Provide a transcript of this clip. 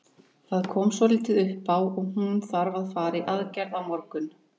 Það kom svolítið upp á og hún þarf að fara í aðgerð á morgun.